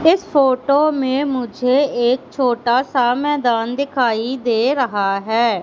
इस फोटो में मुझे एक छोटा सा मैदान दिखाई दे रहा है।